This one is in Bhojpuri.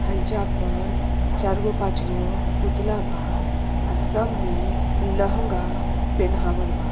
हइजा पर चार गो पांच गो पुतला बा आ सब में लेहेंगा पोहनावल बा।